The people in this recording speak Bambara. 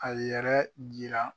A yɛrɛ jira